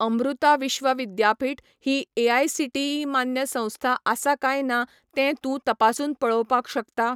अमृता विश्व विद्यापीठ ही एआयसीटीई मान्य संस्था आसा काय ना तें तूं तपासून पळोवपाक शकता?